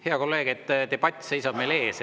Hea kolleeg, see debatt seisab meil ees.